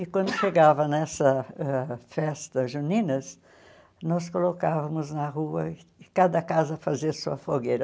E quando chegava nessa ãh festa juninas, nós colocávamos na rua cada casa fazer sua fogueira.